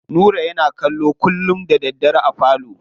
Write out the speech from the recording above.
Nura yana kallo kullum da daddare a falo.